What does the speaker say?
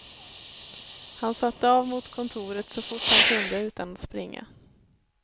Han satte av mot kontoret så fort han kunde utan att springa.